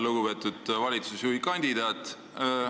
Lugupeetud valitsusjuhikandidaat!